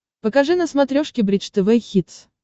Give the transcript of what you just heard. покажи на смотрешке бридж тв хитс